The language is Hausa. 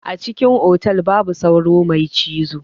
A cikin otal babu sauro mai cizo.